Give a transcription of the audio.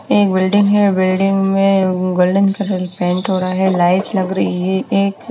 Building है building में golden colour paint हो रहा है लाइट लग रही एक।